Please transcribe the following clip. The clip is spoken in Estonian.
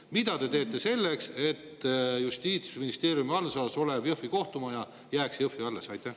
Mida te teete selleks, et Justiitsministeeriumi haldusalas olev Jõhvi kohtumaja jääks alles?